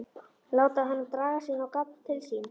Láta hana draga sig inn á gafl til sín.